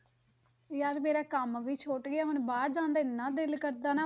ਯਾਰ ਮੇਰਾ ਕੰਮ ਵੀ ਸੁੱਟ ਗਿਆ, ਹੁਣ ਬਾਹਰ ਜਾਣ ਦਾ ਇੰਨਾ ਦਿਲ ਕਰਦਾ ਨਾ,